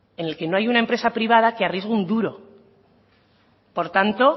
en el que no hay una empresa privada que arriesgue un duro por tanto